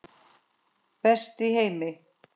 Best í heimi.